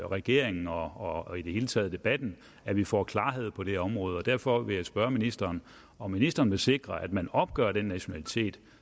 regeringen og i det hele taget debatten at vi får klarhed på det område derfor vil jeg spørge ministeren om ministeren vil sikre at man opgør den nationalitet